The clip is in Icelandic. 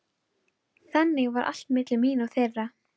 Þannig var allt milli mín og þeirra.